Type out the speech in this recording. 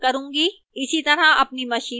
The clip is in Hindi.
इसी तरह अपनी machine पर करें